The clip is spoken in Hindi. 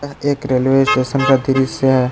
यह एक रेलवे स्टेशन का दृश्य है।